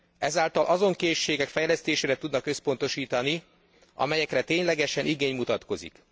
Ezáltal azon készségek fejlesztésére tudnak összpontosítani, amelyekre ténylegesen igény mutatkozik.